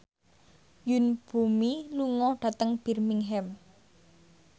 Yoon Bomi lunga dhateng Birmingham